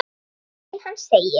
Í grein hans segir